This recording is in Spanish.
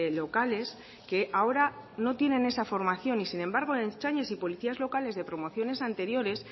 locales que ahora no tienen esa formación y sin embargo ertzainas y policías locales de promociones anteriores